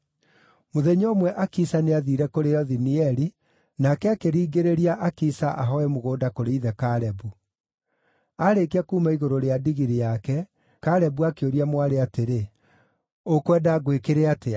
Mũthenya ũmwe Akisa nĩathiire kũrĩ Othinieli, nake akĩringĩrĩria Akisa ahooe mũgũnda kũrĩ ithe Kalebu. Aarĩkia kuuma igũrũ rĩa ndigiri yake, Kalebu akĩũria mwarĩ atĩrĩ, “Ũkwenda ngwĩkĩre atĩa?”